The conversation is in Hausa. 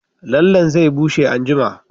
Lallenta zai bushe anjima